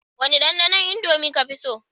Wane dandanon indomie kafi so?